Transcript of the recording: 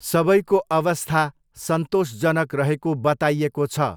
सबैको अवस्था सन्तोषजनक रहेको बताइएको छ।